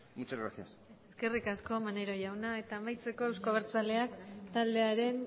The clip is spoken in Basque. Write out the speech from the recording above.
muchas gracias eskerrik asko maneiro jauna eta amaitzeko euzko abertzaleak taldearen